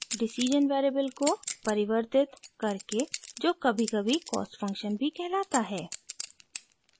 decision variable को परिवर्तित vary करके जो कभीकभी cost function भी कहलाता है